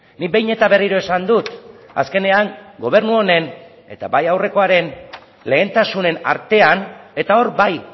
nik behin eta berriro esan dut azkenean gobernu honen eta bai aurrekoaren lehentasunen artean eta hor bai